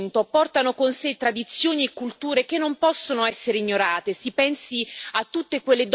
I fenomeni migratori in aumento portano con sé tradizioni e culture che non possono essere ignorate.